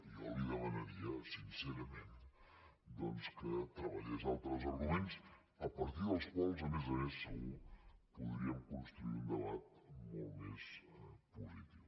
i jo li demanaria sincerament doncs que treballés altres arguments a partir dels quals a més a més segur podríem construir un debat molt més positiu